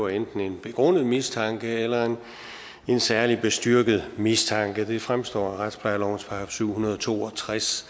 enten en begrundet mistanke eller en særlig bestyrket mistanke det fremstår af retsplejelovens § syv hundrede og to og tres